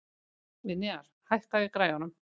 Vinjar, hækkaðu í græjunum.